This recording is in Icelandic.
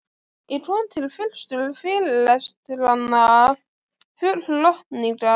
Ég kom til fyrstu fyrirlestranna full lotningar.